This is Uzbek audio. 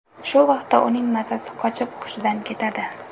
Shu vaqtda uning mazasi qochib hushidan ketadi.